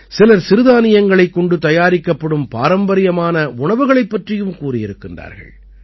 சிலர் சிறுதானியங்களைக் கொண்டு தயாரிக்கப்படும் பாரம்பரியமான உணவுகளைப் பற்றியும் கூறியிருக்கிறார்கள்